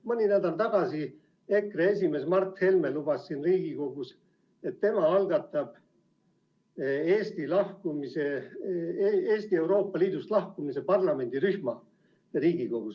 Mõni nädal tagasi EKRE esimees Mart Helme lubas siin Riigikogus, et tema algatab Riigikogus Eesti Euroopa Liidust lahkumise parlamendirühma.